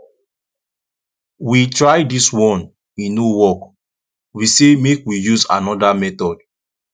we try dis one e no work we say make we use another method